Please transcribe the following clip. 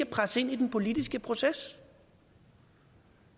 presse ind i den politiske proces